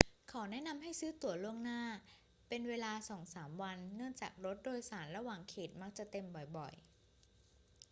ขอแนะนำให้ซื้อตั๋วล่วงหน้าเป็นเวลาสองสามวันเนื่องจากรถโดยสารระหว่างเขตมักจะเต็มบ่อย ๆ